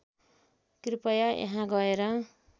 कृपया यहाँ गएर